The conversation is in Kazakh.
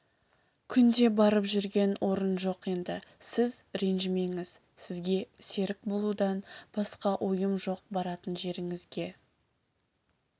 күнде барып жүрген орын жоқ енді сіз ренжімеңіз сізге серік болудан басқа ойым жоқ баратын жеріңізге